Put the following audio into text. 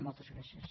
moltes gràcies